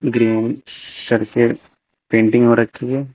Green surface painting हो रखी है।